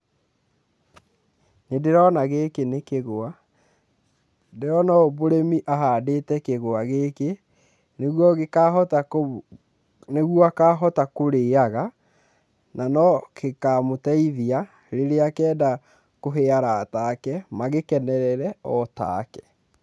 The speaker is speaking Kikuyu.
Nĩndĩrona gĩkĩ nĩ kĩgwa, ndĩrona ũyũ mũrĩmi ahandĩte kĩgwa gĩkĩ nĩguo gĩkahota kũ, nĩguo akahota kũrĩaga nano gĩkamũteithia rĩrĩa akenda kũhe arata ake magĩkenerere otake.